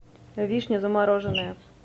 вишня замороженная